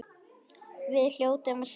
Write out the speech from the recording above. Við hljótum að sigra